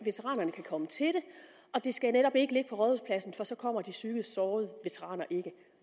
komme til det og det skal netop ikke ligge på rådhuspladsen for så kommer de psykisk sårede veteraner ikke